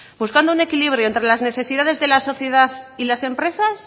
buscando un equilibrio entre las necesidades de la sociedad y las empresas